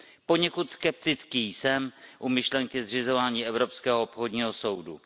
Poněkud skeptický jsem u myšlenky zřizování evropského obchodního soudu.